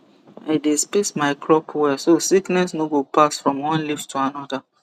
i dey space my crop well so sickness no go pass from one leaf to another